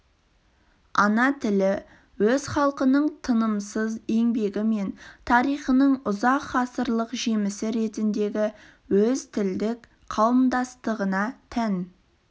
ана тілі өз халқының тынымсыз еңбегі мен тарихының ұзақ ғасырлық жемісі ретіндегі өз тілдік қауымдастығына тән